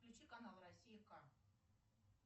включи канал россия к